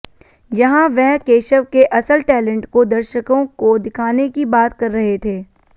यहां वह केशव के असल टैलेंट को दर्शकों को दिखाने की बात कर रहे थे